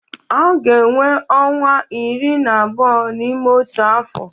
A ga-enwe ọnwa iri na abụọ n'ime otu afọ.